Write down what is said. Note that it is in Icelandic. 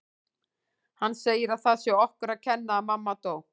Hann segir að það sé okkur að kenna að mamma dó